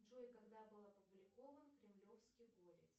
джой когда был опубликован кремлевский горец